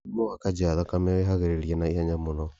Mũrimũ wa kanja ya thakame wĩharĩria na ihenya mũno.